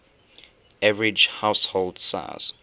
average household size